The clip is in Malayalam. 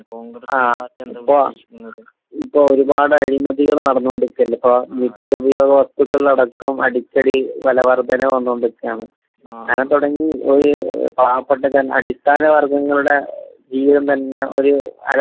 ങാ..ഇപ്പൊ ഒരുപാട് അഴിമതികള് നടന്നോണ്ടിരിക്കുകയല്ലേ ഇപ്പൊ? നിത്യോപയോഗ വസ്തുക്കളിൽ അടക്കം അടിക്കടി വിലവർദ്ധനവ് വന്നുകൊണ്ട് ഇരിക്കുകയാണ്. അങ്ങനെ തുടങ്ങി ഒരു പാവപ്പെട്ട ജന...അടിസ്ഥാന വർഗങ്ങളുടെ ജീവിതം തന്നെ ഒരു അരപ്പട്ടിണിയിൽ...